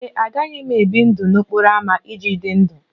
Ee e, agaghị m ebi ndụ n'okporo ámá iji dị ndụ